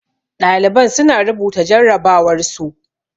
Ɗaliban su na rubuta jarrabawar su